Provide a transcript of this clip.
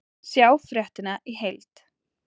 Sjá fréttina í heild